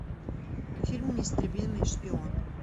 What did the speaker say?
фильм неистребимый шпион